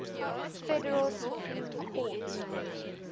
federal supreme court